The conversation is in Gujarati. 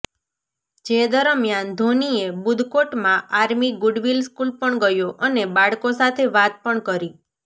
જે દરમિયાન ધોનીએ બુદકોટમાં આર્મી ગુડવિલ સ્કૂલ પણ ગયો અને બાળકો સાથે વાત પણ કરી